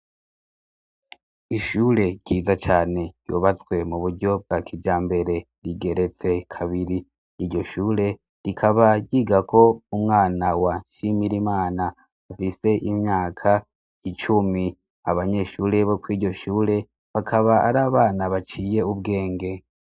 Ishure ryiza cane yubazwe mu buryo bwa kija mbere rigeretse kabiri iryo shure rikabagiga ko umwana wa nshimira imana afise imyaka icumi abanyeshure boko iryo shure bakaba ari abana baciye ubwenge.